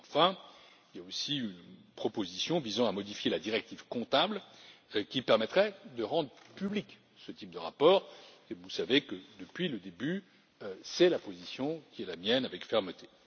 Enfin, il y a aussi une proposition visant à modifier la directive comptable, qui permettrait de rendre public ce type de rapport, et vous savez que, depuis le début, c'est la position que je défends avec fermeté.